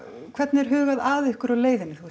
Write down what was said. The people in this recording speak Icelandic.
hvernig er hugað að ykkur á leiðinni